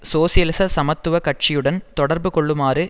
சோசியலிச சமத்துவ கட்சியுடன் தொடர்பு கொள்ளுமாறு